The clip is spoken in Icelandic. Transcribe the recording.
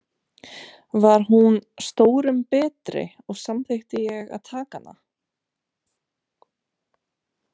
Var hún stórum betri, og samþykkti ég að taka hana.